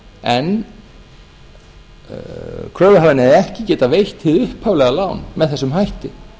en kröfuhafinn hefði ekki getað veitt hið upphaflega lán með þessum hætti